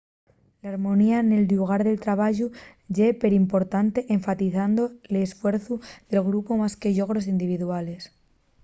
l’harmonía nel llugar de trabayu ye perimportante enfatizando l’esfuerciu de grupu más que los llogros individuales